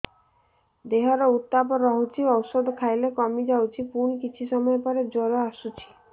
ଦେହର ଉତ୍ତାପ ରହୁଛି ଔଷଧ ଖାଇଲେ କମିଯାଉଛି ପୁଣି କିଛି ସମୟ ପରେ ଜ୍ୱର ଆସୁଛି